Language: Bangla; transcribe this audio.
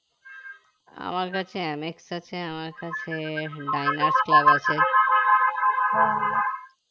আমার কাছে omex আছে আমার কাছে diners club আছে